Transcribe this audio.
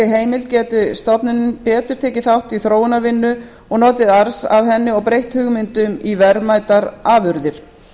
heimild geti stofnunin betur tekið þátt í þróunarvinnu og notið arðs af henni og breytt hugmyndum í verðmætar afurðir